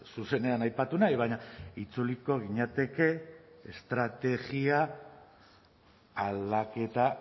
zuzenean aipatu nahi baina itzuliko ginateke estrategia aldaketa